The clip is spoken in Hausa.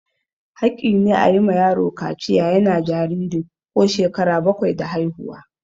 Haƙƙi ne a yi ma yaro kaciya yana jariri ko shekara bakwai da haihuwa.